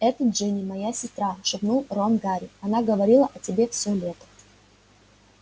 это джинни моя сестра шепнул рон гарри она говорила о тебе всё лето